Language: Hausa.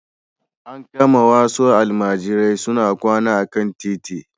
An kama wasu almajirai suna kwana a kan titi.